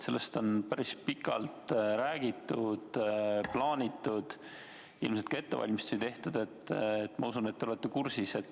Sellest on päris pikalt räägitud, on plaanitud ja ilmselt ka ettevalmistusi tehtud – ma usun, et te olete kursis.